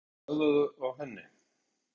En hafa þeir bragðað á henni?